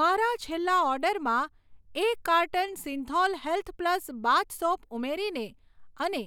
મારા છેલ્લા ઓર્ડરમાં એક carton Cinthol health plus bath soap ઉમેરીને અને